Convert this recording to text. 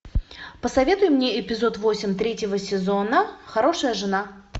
посоветуй мне эпизод восемь третьего сезона хорошая жена